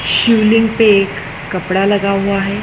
शिवलिंग पे एक कपड़ा लगा हुआ है।